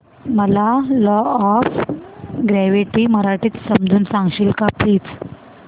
मला law of gravity मराठीत समजून सांगशील का प्लीज